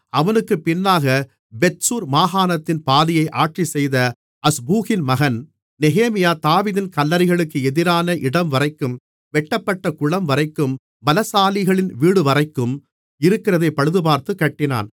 அவனுக்குப் பின்னாகப் பெத்சூர் மாகாணத்தின் பாதியை ஆட்சி செய்த அஸ்பூகின் மகன் நெகேமியா தாவீதின் கல்லறைகளுக்கு எதிரான இடம்வரைக்கும் வெட்டப்பட்ட குளம்வரைக்கும் பலசாலிகளின் வீடுவரைக்கும் இருக்கிறதைப் பழுதுபார்த்துக் கட்டினான்